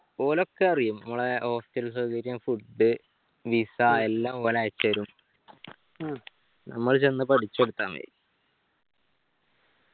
ഓലൊക്കെ അറിയും നമ്മളെ hostel സൗകര്യം food visa എല്ലാ ഓല് അയച്ചേരും നമ്മള് ചെന്ന് പഠിച്ചൊടുത്താ മതി